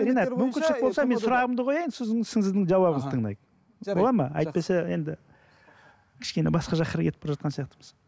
ринат мүмкіншілік болса мен сұрағымды қояйын сосын сіздің жауабыңызды тыңдайық болады ма әйтпесе енді кішкене басқа жаққа қарай кетіп бара жатқан сияқтымыз